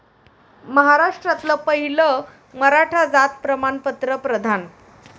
महाराष्ट्रातलं पहिलं मराठा जात प्रमाणपत्र प्रदान